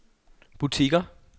butikker